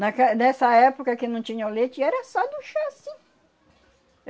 Naquel, nessa época que não tinha o leite, era só do chá, sim.